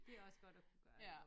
Det også godt at kunne gøre